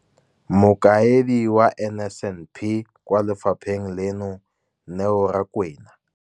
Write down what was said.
Mokaedi wa NSNP kwa lefapheng leno, Neo Rakwena.